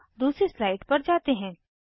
अब दूसरी स्लाइड पर जाते हैं